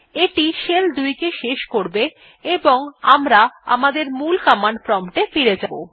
এইটি shell ২ কে শেষ করবে এবং আমরা আমাদের মূল কমান্ড প্রম্পট এ ফিরে যাব